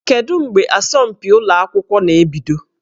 Kedu mgbe asọmpi ụlọ akwụkwọ na-ebido?